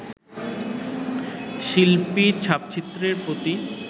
শিল্পীর ছাপচিত্রের প্রতি